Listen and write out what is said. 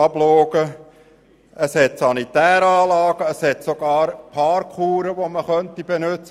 Es gibt sanitäre Anlagen und sogar Parkuhren, die benützt werden könnten.